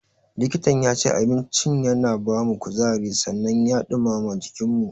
Likitan yace, abinci yana bamu kuzari sannan ya ɗumama jikinmu.